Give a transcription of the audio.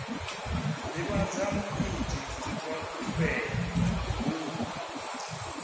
divhadza muiti wa khumbelo hu